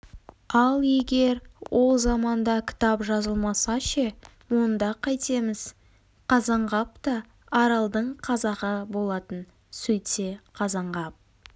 ал егер ол заманда кітап жазылмаса ше онда қайтеміз қазанғап та аралдың қазағы болатын сөйтсе қазанғап